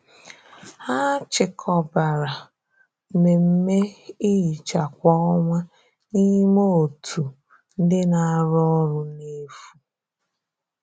Hà chịkọbàrà mmemme ihicha kwa ọnwa n’ime òtù ndị na-arụ ọrụ n’efu.